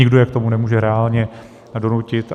Nikdo je k tomu nemůže reálně donutit.